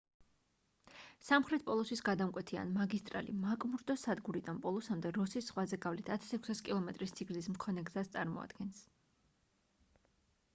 სამხრეთ პოლუსის გადამკვეთი ან მაგისტრალი მაკმურდოს სადგურიდან პოლუსამდე როსის ზღვაზე გავლით 1,600 კმ სიგრძის მქონე გზას წარმოადგენს